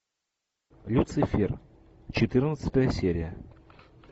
люцифер четырнадцатая серия